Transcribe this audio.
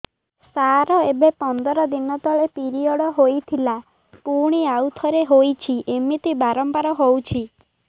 ସାର ଏବେ ପନ୍ଦର ଦିନ ତଳେ ପିରିଅଡ଼ ହୋଇଥିଲା ପୁଣି ଆଉଥରେ ହୋଇଛି ଏମିତି ବାରମ୍ବାର ହଉଛି